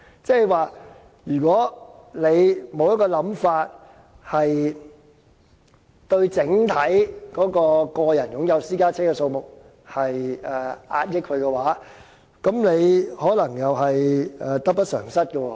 即是說，如果沒有一個想法，遏抑整體個人擁有私家車的數目，便可能得不償失。